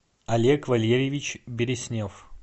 олег валерьевич береснев